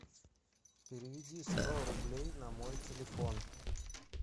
переведи сто рублей на мой телефон